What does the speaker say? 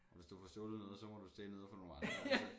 Og hvis du får stjålet noget så må du stjæle noget fra nogle andre altså